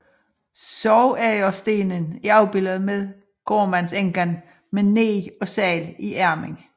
Sorgagerstenen er afbilledet med gårdmandsenken med neg og segl i armen